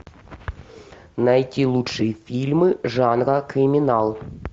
найти лучшие фильмы жанра криминал